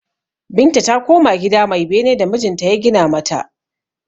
Binta ta koma gida mai bene da mijinta ya gina mata.